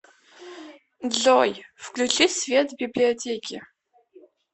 джой включи свет в библиотеке